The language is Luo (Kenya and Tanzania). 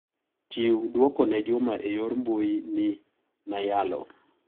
Chiw duoko ne Juma e yor mbui ni nayalo.